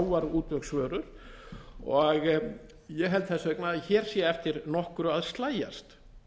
lúxusvörur þetta eru sjávarútvegsvörur og ég held þess vegna að hér sé eftir nokkru að slægjast